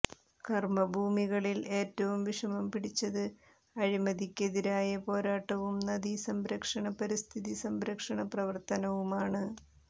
കർമ്മഭൂമികളിൽ ഏറ്റവും വിഷമം പിടിച്ചത് അഴിമതിക്കെതിരായ പോരാട്ടവും നദീസംരക്ഷണ പരിസ്ഥിതി സംരക്ഷണ പ്രവർത്തനവുമാണ്